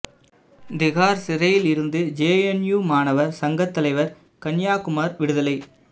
திகார் சிறையில் இருந்து ஜேஎன்யூ மாணவர் சங்கத் தலைவர் கன்யாகுமார் விடுதலை